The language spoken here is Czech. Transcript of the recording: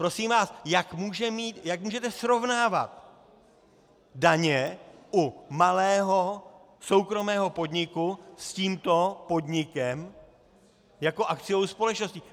Prosím vás, jak můžete srovnávat daně u malého soukromého podniku s tímto podnikem jako akciovou společností?